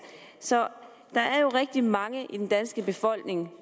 så der er jo rigtig mange i den danske befolkning